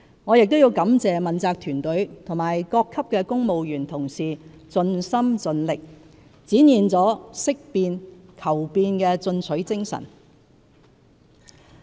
我亦要感謝問責團隊和各級公務員同事盡心盡力，展現了識變、求變的進取精神。